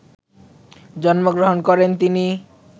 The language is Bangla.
জন্মগ্রহণ করেন তিনি